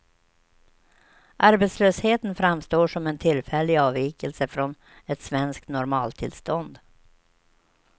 Arbetslösheten framstår som en tillfällig avvikelse från ett svenskt normaltillstånd.